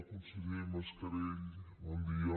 conseller mascarell bon dia